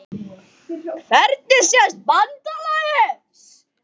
Hvernig sést BANDALAGIÐ?